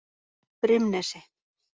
Brimnesi